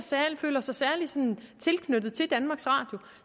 føler sig særlig tilknyttet til danmarks radio